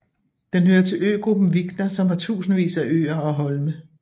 Den hører til øgruppen Vikna som har tusindvis af øer og holme